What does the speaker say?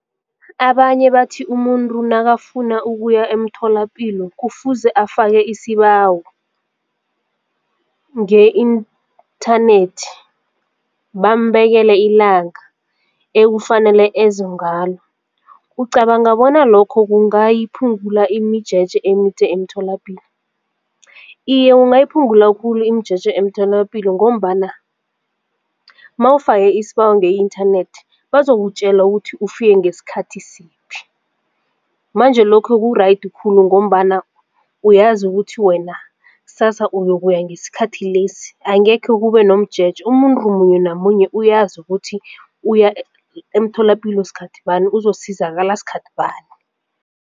Abanye bathi umuntu nakafuna ukuya emtholapilo kufuze afake isibawo nge-inthanethi bambekele ilanga ekufanele eze ngalo. Ucabanga bona lokho kungayiphungula imijeje emide emtholapilo? Iye, kungayiphungula khulu imijeje emtholapilo ngombana mawufake isibawo nge-inthanethi bazokutjela ukuthi ufike ngesikhathi siphi. Manje lokho ku-right khulu ngombana uyazi ukuthi wena ksasa uyokuya ngesikhathi lesi angekhe kube nomjeje umuntu munye namunye uyazi ukuthi uya emtholapilo sikhathi bani uzokusizakala sikhathi bani.